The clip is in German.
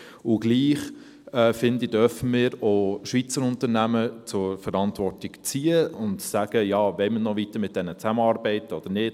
Und doch finde ich: Wir dürfen auch Schweizer Unternehmen zur Verantwortung ziehen und sagen: «Wollen wir noch weiter mit diesen zusammenarbeiten oder nicht?